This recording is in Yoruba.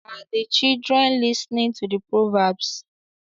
Are the children listening to the proverbs?